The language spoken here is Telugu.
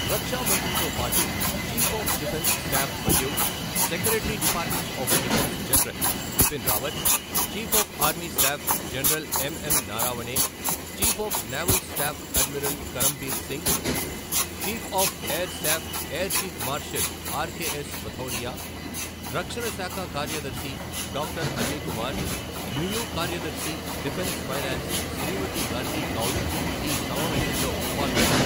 రక్షా మంత్రితో పాటు చీఫ్ ఆఫ్ డిఫెన్స్ స్టాఫ్ మరియు secretary department of defence general Bipin Rawat, chief of army staff general MM Naravane, chief of naval staff admiral Karambir Singh, chief of air staff air chief marshal RKS Bhadauria, రక్షణ శాఖ కార్యదర్శి డాక్టర్ అజయ్ కుమార్ మియు కార్యదర్శి డిఫెన్స్ ఫైనాన్స్ శ్రీమతి గార్గి కౌల్ ఈ సమావేశంలో పాల్గొన్నారు.